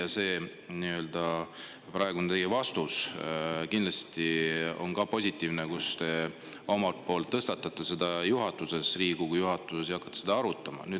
Positiivne, et te tõstatate selle Riigikogu juhatuses ja hakkate seda arutama.